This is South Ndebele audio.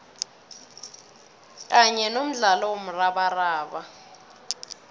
kanye nomdlalo womrabaraba